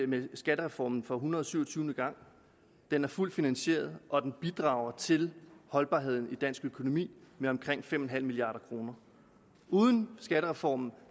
med skattereformen for en hundrede og syv og tyve gang den er fuldt finansieret og den bidrager til holdbarheden i dansk økonomi med omkring fem milliard kroner uden skattereformen